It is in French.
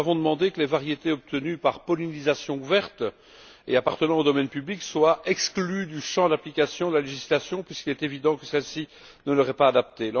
Nous avons demandé que les variétés obtenues par pollinisation ouverte et appartenant au domaine public soient exclues du champ d'application de la législation puisqu'il est évident que celle ci ne leur est pas adaptée.